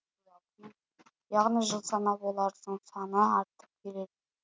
яғни жыл санап олардың саны артып келеді